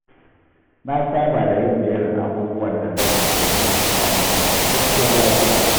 Na saba da yin jerin abubuwan da zan yi domin in sami ingantacciyar tafiya.